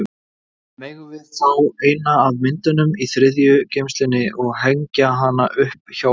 Megum við fá eina af myndunum í þriðju geymslunni og hengja hana upp hjá okkur?